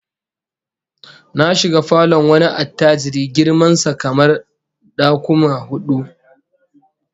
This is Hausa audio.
Na shiga falon wani attajiri girman sa kamar dakuma hudu